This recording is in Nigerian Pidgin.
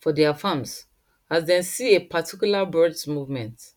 for their farms after dem see a particular birds movement